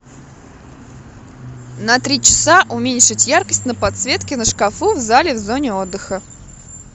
на три часа уменьшить яркость на подсветке на шкафу в зале в зоне отдыха